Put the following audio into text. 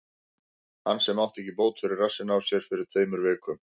Hann sem átti ekki bót fyrir rassinn á sér fyrir tveimur vikum?